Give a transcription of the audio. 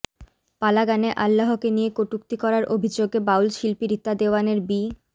পালা গানে আল্লাহকে নিয়ে কটূক্তি করার অভিযোগে বাউল শিল্পী রিতা দেওয়ানের বি